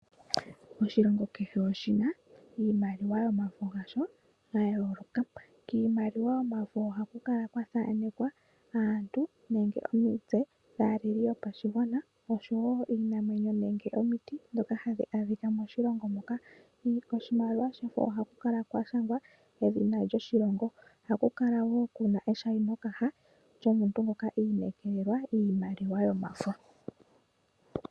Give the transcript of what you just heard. Oshilongo kehe oshina iimaliwa yomafo gasho ga yooloka. Kiimaliwa yomafo ohaku kala kwa thaanekwa aantu, omitse dhaaleli yopashigwana, iinamwenyo nenge omiti ndhoka hadhi adhika moshilongo moka. Kiimaliwa yomafo ohaku kala kwa shangwa edhina lyoshilongo, ohaku kala wo eshainokaha lyomuntu ngoka iinekelelwa iimaliwa yomafo.